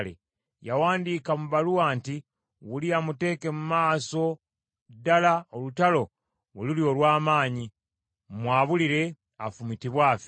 Yawandiika mu bbaluwa nti, “Uliya muteeke mu maaso ddala olutalo we luli olw’amaanyi, mumwabulire, afumitibwe afe.”